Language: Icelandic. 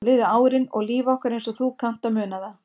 Svo liðu árin og líf okkar eins og þú kannt að muna það.